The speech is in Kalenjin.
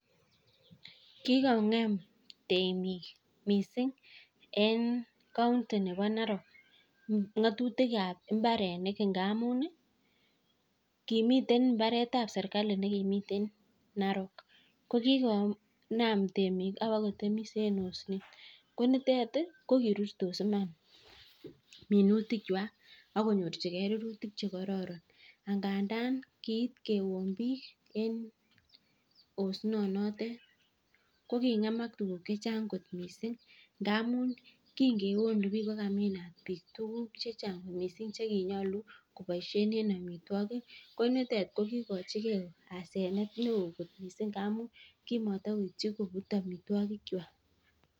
Ki ko ngem temiik missing eng county nebo Narok ngatutiik ab mbarenik ngamuun ii kimiten mbaret ab serikali ko kigonam temiik ak ko biteet ko kirutos minutiik kwaak sikobiit konyorjingei rurutiik che kororon ak ngandaan osnet noteet ko ngemaak tuguuk che chaang ngamuun kingeonuu biiik choon ndet ko kiakomiin biik tuguuk che chaang che kiakomiin ko biteet ko kikogochiki asenet amuun kimatakobuut amitwagiik kwaak.